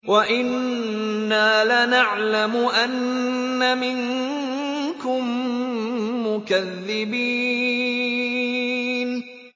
وَإِنَّا لَنَعْلَمُ أَنَّ مِنكُم مُّكَذِّبِينَ